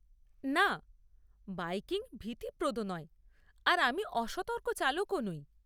না, বাইকিং ভীতিপ্রদ নয় আর আমি অসতর্ক চালকও নই।